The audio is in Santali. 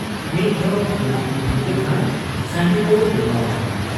ᱢᱤᱫ ᱫᱷᱟᱣ ᱦᱟᱺᱰᱤ ᱧᱩ ᱞᱮᱠᱷᱟᱱ ᱥᱟᱺᱰᱤᱵᱚ ᱵᱮᱱᱟᱣᱜ ᱟ ᱾